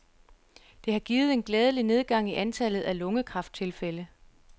Det har givet en glædelig nedgang i antallet af lungekræfttilfælde.